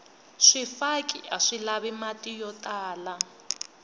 swifaki aswi lavi mati yo tala